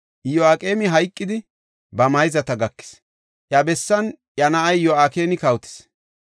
Iyo7aqeemi hayqidi, ba mayzata gakis; iya bessan iya na7ay Yo7akini kawotis.